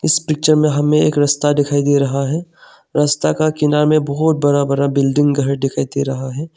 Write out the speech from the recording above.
इस पिक्चर में हमें एक रस्ता दिखाई दे रहा है रस्ता का किनारे में बहोत बड़ा बड़ा बिल्डिंग घर दिखाई दे रहा है।